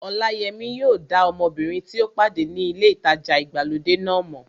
Ọláyẹmí yóò dá ọmọbìnrin tí ó pàdé ní ilé ìtajà ìgbàlódé náà mọ̀